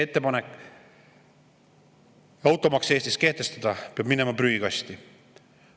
Ettepanek Eestis automaks kehtestada peab minema prügikasti.